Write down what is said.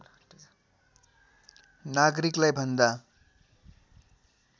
नागरिकलाई भन्दा